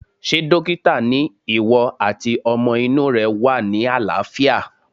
Ṣé dókítà ni ìwọ àti ọmọ inú rẹ wà ní àlàáfíà